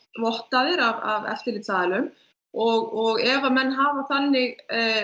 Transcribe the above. vottaðir af eftirlitsaðilum og ef menn hafa þannig